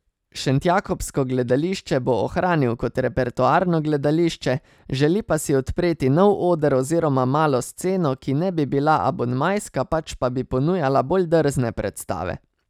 Šentjakobsko gledališče bo ohranil kot repertoarno gledališče, želi pa si odpreti nov oder oziroma malo sceno, ki ne bi bila abonmajska, pač pa bi ponujala bolj drzne predstave.